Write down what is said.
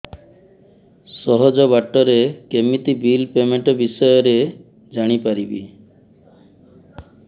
ସହଜ ବାଟ ରେ କେମିତି ବିଲ୍ ପେମେଣ୍ଟ ବିଷୟ ରେ ଜାଣି ପାରିବି